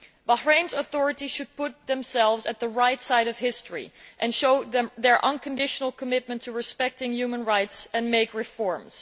Bahrain's authorities should put themselves on the right side of history and show their unconditional commitment to respecting human rights and make reforms.